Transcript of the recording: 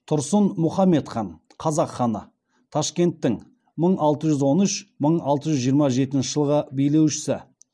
тұрсын мұхаммед хан қазақ ханы ташкенттің мың алты жүз он үш мың алты жүз жиырма жетінші жылғы билеушісі